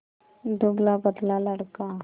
दुबलापतला लड़का